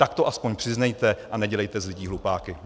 Tak to aspoň přiznejte a nedělejte z lidí hlupáky.